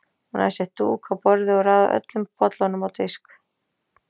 Hún hafði sett dúk á borðið og raðað öllum bollunum á disk.